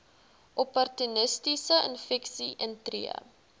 opportunistiese infeksies intree